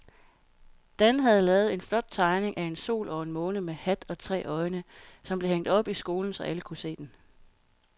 Dan havde lavet en flot tegning af en sol og en måne med hat og tre øjne, som blev hængt op i skolen, så alle kunne se den.